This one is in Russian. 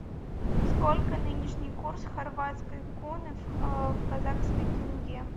сколько нынешний курс хорватской куны в казахской тенге